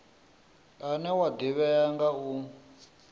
une wa ḓivhea nga u